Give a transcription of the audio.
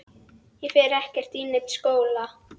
Ég fer ekkert í neinn skóla!